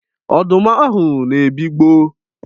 Ọdụm ahụ na-ebigbọ.